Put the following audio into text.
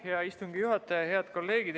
Selle eelnõu esimene lugemine oli 30. septembril.